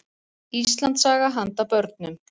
Íslandssaga handa börnum.